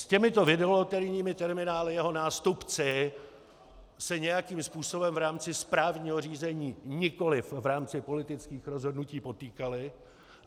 S těmito videoloterijními terminály jeho nástupci se nějakým způsobem v rámci správního řízení, nikoli v rámci politických rozhodnutí potýkali.